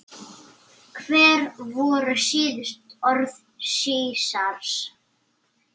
Hver voru síðustu orð Sesars?